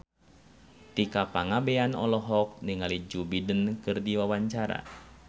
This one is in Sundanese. Tika Pangabean olohok ningali Joe Biden keur diwawancara